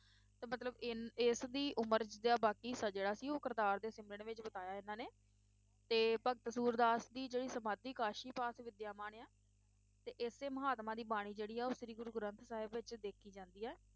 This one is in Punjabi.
ਤੇ ਮਤਲਬ ਇੰਨ~ ਇਸ ਦੀ ਉਮਰ ਦਾ ਬਾਕੀ ਹਿੱਸਾ ਜਿਹੜਾ ਸੀ ਉਹ ਕਰਤਾਰ ਦੇ ਸਿਮਰਨ ਵਿਚ ਬਿਤਾਇਆ ਇਨ੍ਹਾਂ ਨੇ, ਤੇ ਭਗਤ ਸੂਰਦਾਸ ਦੀ ਜਿਹੜੀ ਸਮਾਧੀ ਕਾਸ਼ੀ ਪਾਸ ਵਿਦਿਆਮਾਨ ਆ ਤੇ ਇਸੇ ਮਹਾਤਮਾ ਦੀ ਬਾਣੀ ਜਿਹੜੀ ਆ ਉਹ ਸ਼੍ਰੀ ਗੁਰੂ ਗ੍ਰੰਥ ਸਾਹਿਬ ਵਿਚ ਦੇਖੀ ਜਾਂਦੀ ਹੈ,